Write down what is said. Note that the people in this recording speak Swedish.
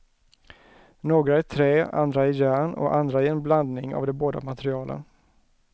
Några i trä, andra i järn och andra i en blandning av de båda materialen.